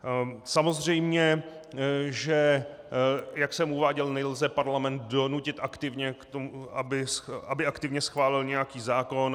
Samozřejmě že jak jsem uváděl, nelze parlament donutit aktivně k tomu, aby aktivně schválil nějaký zákon.